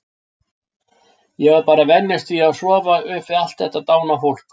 Ég varð bara að venjast því að sofa upp við allt þetta dána fólk.